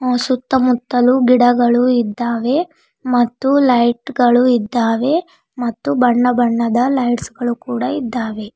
ಸುತ್ತಮುತ್ತಲು ಗಿಡಗಳು ಇದ್ದಾವೆ ಮತ್ತು ಲೈಟ್ ಗಳು ಇದ್ದಾವೆ ಮತ್ತು ಬಣ್ಣ ಬಣ್ಣದ ಲೈಟ್ಸ್ ಗಳು ಕೂಡ ಇದ್ದಾವೆ.